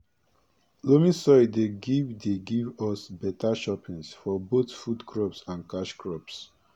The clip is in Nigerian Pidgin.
loamy soil dey give dey give us beta choppins for both food crops and cash crops